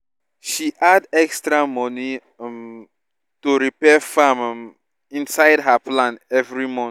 she add extra money um to repair farm um inside her plan every month